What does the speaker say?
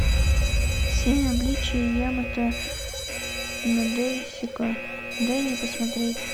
семь обличий ямато надэсико дай мне посмотреть